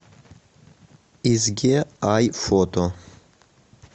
изге ай фото